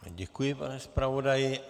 Děkuji, pane zpravodaji.